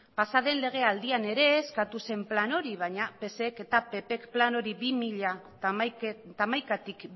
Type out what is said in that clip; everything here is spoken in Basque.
pasa den legealdian ere eskatu zen plan hori baina psek eta ppk plan hori bi mila hamaikatik